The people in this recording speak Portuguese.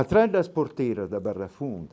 Atrás das porteiras da Barra Funda,